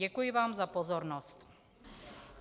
Děkuji vám za pozornost.